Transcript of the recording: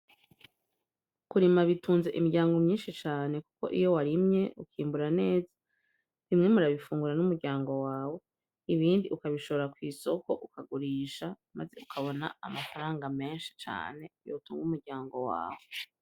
Kurima bitunze imiryango myinshi cane, kuko iyo warimye ukimbura neza bimwe murabifungura n'umuryango wawe ibindi ukabishobora kw'isoko ukagurisha, maze ukabona amafaranga menshi cane yotungwa umuryango wawe.